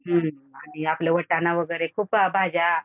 आणि आपलं वाटाणा वगैरे खूप भाज्या